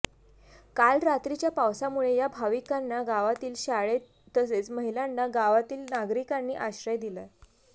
काल रात्रीच्या पावसामुळे या भाविकांना गावातील शाळेत तसेच महिलांना गावातील नागरिकांनी आश्रय दिला